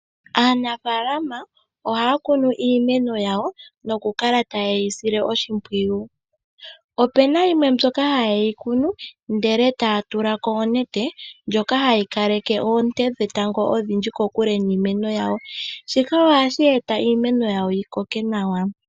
Aanafalama ohaya kunu iimeno yawo nokukala ta yeyi sile oshipwiyu opena yimwe mbyoka haye yi kunu ndele taya tulako oonete ndjoka hayikaleke oonte dhe tango kokule niimeno yawo shika ohashi eta iimeno yawo yi koke nawa.